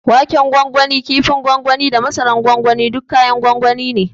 Waken gwangwani, ƙifin gwangwani da masara na gwangwani duk kayan gwangwani ne.